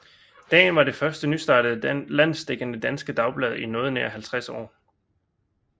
Dagen var det første nystartede landsdækkende danske dagblad i noget nær 50 år